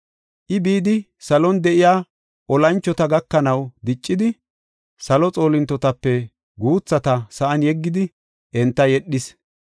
I, bidi salon de7iya olanchota gakanaw diccidi, salo xoolintotape guuthata sa7an yeggidi enta yedhis.